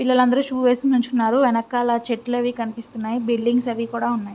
పిల్లలు అందరూ షూ వేసి నుంచున్నారు వెనకాల చెట్లు అవి కనిపిస్తున్నాయి బిల్డింగ్స్ అవి కూడా ఉన్నాయి.